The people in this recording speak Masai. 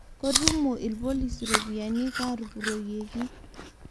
Kotumo lpolisi ropiyiani katupuroyieki